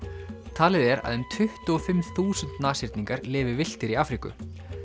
talið er að um tuttugu og fimm þúsund lifi villtir í Afríku